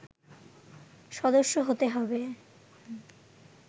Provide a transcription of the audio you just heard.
সদস্য হতে হবে